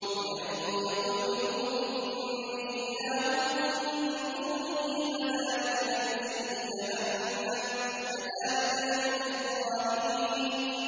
۞ وَمَن يَقُلْ مِنْهُمْ إِنِّي إِلَٰهٌ مِّن دُونِهِ فَذَٰلِكَ نَجْزِيهِ جَهَنَّمَ ۚ كَذَٰلِكَ نَجْزِي الظَّالِمِينَ